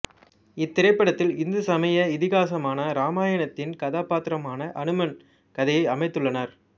இத்திரைப்படத்தில் இந்து சமய இதிகாசமான இராமாயணத்தின் கதாப்பாத்திரமான அனுமன் கதையை அமைத்துள்ளனர்